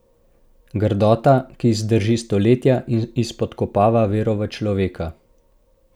Grdota, ki zdrži stoletja in izpodkopava vero v človeka.